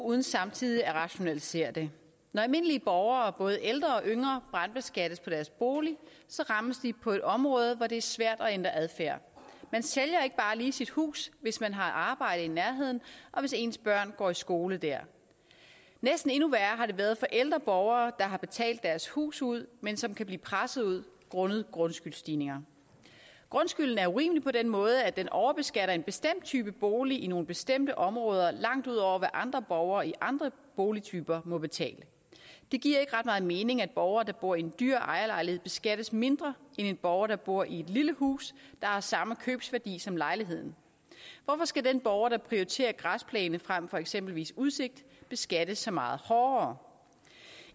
uden samtidig at rationalisere det når almindelige borgere både ældre og yngre brandbeskattes af deres bolig rammes de på et område hvor det er svært at ændre adfærd man sælger ikke bare lige sit hus hvis man har arbejde i nærheden og hvis ens børn går i skole der næsten endnu værre har det været for ældre borgere der har betalt deres hus ud men som kan blive presset ud grundet grundskyldsstigninger grundskylden er urimelig på den måde at den overbeskatter en bestemt type bolig i nogle bestemte områder langt ud over hvad andre borgere i andre boligtyper må betale det giver ikke ret meget mening at borgere der bor i en dyr ejerlejlighed beskattes mindre end en borger der bor i et lille hus der har samme købsværdi som lejligheden hvorfor skal den borger der prioriterer græsplæne frem for eksempelvis udsigt beskattes så meget hårdere